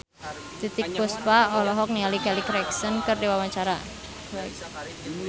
Titiek Puspa olohok ningali Kelly Clarkson keur diwawancara